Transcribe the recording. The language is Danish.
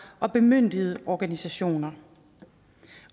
og bemyndigede organisationer